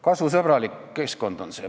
Kasvusõbralik keskkond.